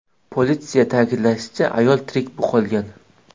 Politsiyada ta’kidlanishicha, ayol tirik qolgan.